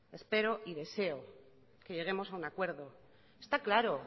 espero y deseo que lleguemos a un acuerdo está claro